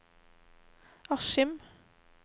Askim